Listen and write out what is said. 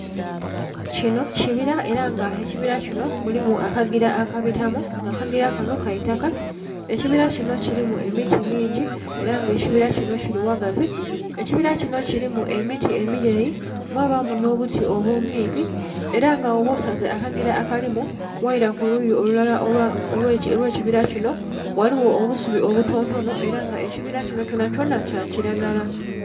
kinho kibila ela nga ekibila kinho mulimu akagila akabitamu nga akagila kanho ka itaka, ekibilala kinho kilimu emiti mingi ela nga ekibila kinho kili ghagazi. Ekibila kinho kilimu emiti emileyi, mwbaamu nho buti obumpimpi, ela nga bwoba osaze akagila akalimu ghaila ku luyi olulala olwekibila kinho ghaligho obusubi obutontonho ela nga ekibila kinho kyonhakyonha kya kilagala.